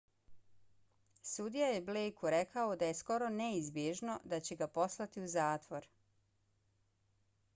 sudija je blejku rekao da je skoro neizbježno da će ga poslati u zatvor